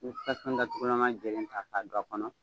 I bɛ tasuma datuma ta k'a don a kɔnɔ.